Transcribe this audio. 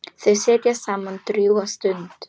Þau sitja saman drjúga stund.